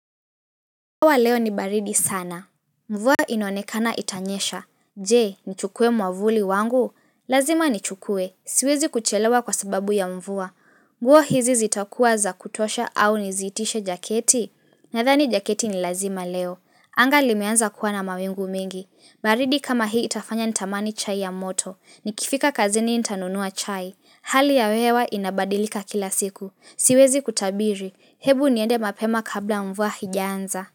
Hawa leo ni baridi sana. Mvua inaonekana itanyesha. Je, nichukue mwavuli wangu? Lazima nichukue. Siwezi kuchelewa kwa sababu ya mvua. Nguo hizi zitakuwa za kutosha au nizitishe jaketi? Nadhani jaketi ni lazima leo. Anga limeanza kuwa na mawingu mengi. Baridi kama hii itafanya nitamani chai ya moto. Nikifika kazini intanunua chai. Hali ya hewa inabadilika kila siku. Siwezi kutabiri. Hebu niende mapema kabla mvua haijaanza.